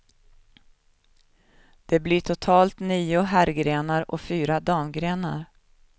Det blir totalt nio herrgrenar och fyra damgrenar.